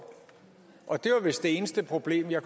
og det var vist det eneste problem jeg